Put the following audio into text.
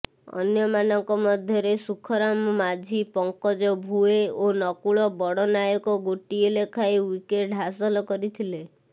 ଅନ୍ୟମାନଙ୍କ ମଧ୍ୟରେ ସୁଖରାମ ମାଝୀ ପଙ୍କଜ ଭୁଏ ଓ ନକୁଳ ବଡ଼ନାୟକ ଗୋଟିଏ ଲେଖାଏ ୱିକେଟ୍ ହାସଲ କରିଥିଲେ